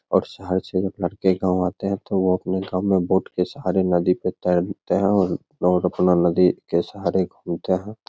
और शहर से जब लड़के गांव आते हैं तो वो अपने गांव में बोट के सहारे नदी पे तैरते हैं और रोज अपना नदी के सहारे घूमते हैं।